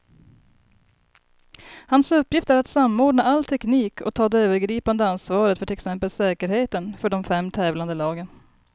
Hans uppgift är att samordna all teknik och ta det övergripande ansvaret för till exempel säkerheten för de fem tävlande lagen.